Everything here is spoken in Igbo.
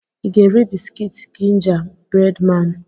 ị ga-eri bisikitii ginger breadman?